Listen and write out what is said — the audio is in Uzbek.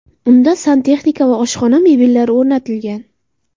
Unda santexnika va oshxona mebellari o‘rnatilgan.